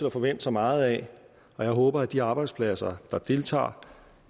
at forvente sig meget af og jeg håber at de arbejdspladser der deltager